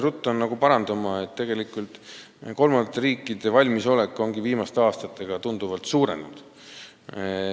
Ruttan jällegi parandama: tegelikult on kolmandate riikide valmisolek viimaste aastatega tunduvalt suurenenud.